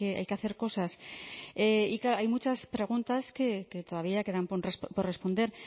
hay que hacer cosas y claro hay muchas preguntas que todavía quedan por responder